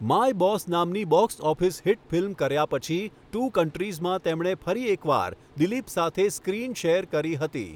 My boss' નામની box office hit ફિલ્મ કર્યા પછી 'ટૂ કન્ટ્રીઝ'માં તેમણે ફરી એક વાર દિલીપ સાથે સ્ક્રીન શેર કરી હતી.